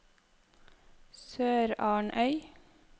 SørarnØy